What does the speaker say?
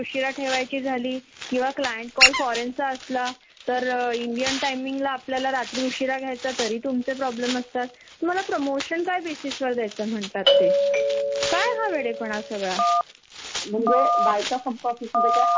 मला तर अस वाटत की आपन पैश्यासाठी करतोय तर त्या त्यांच्या भविष्यासाठी करतोय आणि त्याचा उपयोग जर त्याना भोवणार नसेल आपण त्यांना वेळ च देऊ शकणार नसेल तर मग का उपयोग याचा तेच फर्स्टरेशन खूप जास्त असत.